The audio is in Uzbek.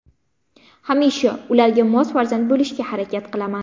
Hamisha ularga mos farzand bo‘lishga harakat qilaman.